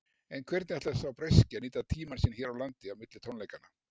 En hvernig ætlar sá breski að nýta tímann sinn hér á landi á milli tónleikanna?